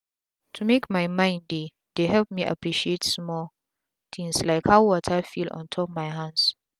to make my mind dey dey help me appreciate small tins like how water feel ontop my hands.